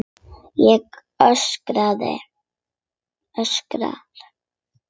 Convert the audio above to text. Ég öskra.